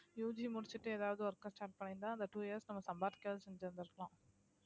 UG முடிச்சுட்டு ஏதாவது work க்க start பண்ணியிருந்தா அந்த two years நம்ம சம்பாதிக்கயாவது செஞ்சிருந்திருக்கலாம்